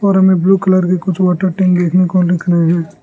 और हमें blue colour के कुछ वाटर टैंक देखने को दिख रहे हैं।